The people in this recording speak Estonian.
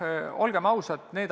Olgem ausad.